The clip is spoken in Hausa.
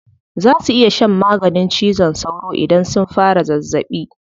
Za su iya shan maganin cizon sauro idan sun fara zazzaɓi.